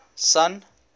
sun